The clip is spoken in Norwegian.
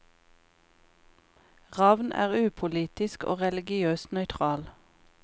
Ravn er upolitisk og religiøst nøytral.